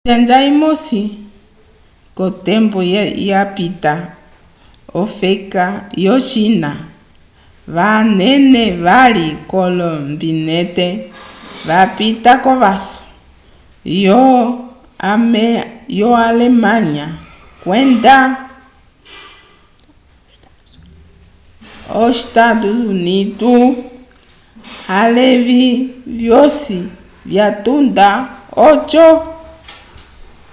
konjanja imosi kotembo yapita ofeka yo china vanena vali olombinente vapita kovaso yo alemanya kwenda e u a levi vyosi vyatunda oko